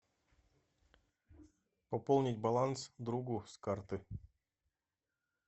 пополнить баланс другу с карты